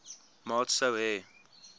maat sou hê